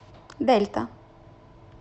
дельта